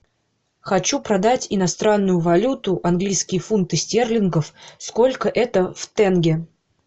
хочу продать иностранную валюту английские фунты стерлингов сколько это в тенге